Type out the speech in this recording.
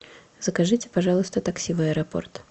закажите пожалуйста такси в аэропорт